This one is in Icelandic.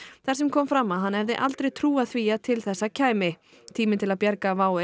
þar sem kom fram að hann hefði aldrei trúað því að til þessa kæmi tíminn til að bjarga WOW